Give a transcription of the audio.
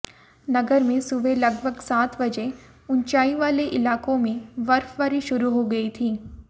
नगर में सुबह लगभग सात बजे ऊंचाई वाले इलाकों में बर्फबारी शुरू हो गई थी